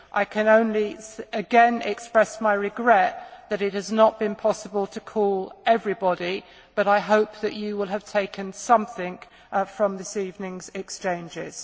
I can only again express my regret that it has not been possible to call everybody, but I hope that you will have taken something from this evening's exchanges.